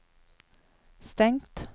stengt